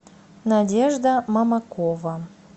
надежда мамакова